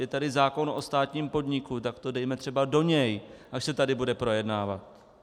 Je tady zákon o státním podniku, tak to dejme třeba do něj, až se tady bude projednávat.